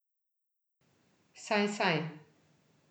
Saj, saj.